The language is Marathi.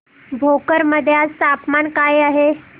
भोकर मध्ये आज तापमान काय आहे